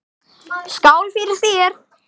Skál fyrir þér!